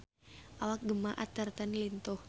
Awak Gemma Arterton lintuh